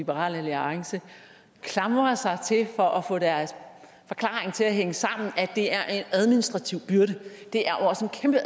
liberal alliance klamrer sig til for at få deres forklaring til at hænge sammen altså at det er en administrativ byrde det er også en kæmpe